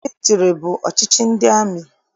Mịlịtịrị bụ ọchịchị ndị amị.